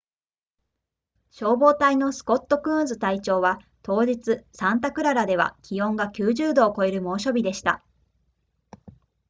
消防隊のスコットクーンズ隊長は当日サンタクララでは気温が90度を超える猛暑日でした